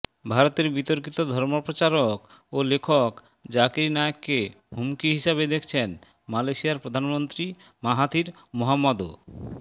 ভারতের বিতর্কিত ধর্মপ্রচারক ও লেখক জাকির নায়েককে হুমকি হিসেবে দেখছেন মালয়েশিয়ার প্রধানমন্ত্রী মাহাথির মোহম্মদও